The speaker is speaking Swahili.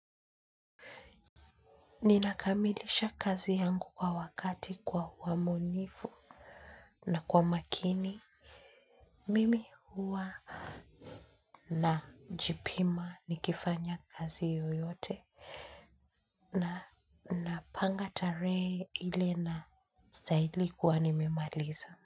Ninakamilisha kazi yangu kwa wakati kwa uaminifu na kwa makini. Mimi huwa najipima nikifanya kazi yoyote na napanga tarehe ile nastahili kuwa nimemaliza.